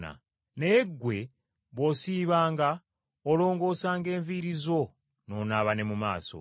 Naye ggwe bw’osiibanga olongoosanga enviiri zo n’onaaba ne mu maaso,